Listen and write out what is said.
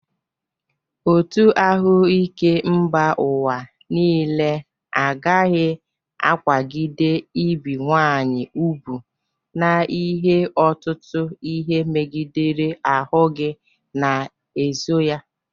Otu ahụike mba ụwa niile agaghị akwagide ibi nwaanyị ubu n'ihe ọtụtụ ihe megidere ahụ gi na-eso ya.